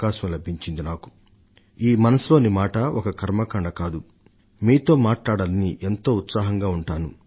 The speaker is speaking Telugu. నా దృష్టిలో మన్ కీ బాత్ మనసు లోని మాట ఒక మత ఆచారం కాదు మీతో మాట్లాడాలని నేనెంతో ఉత్సాహంగా ఉంటాను